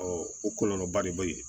o kɔlɔlɔba de bɛ yen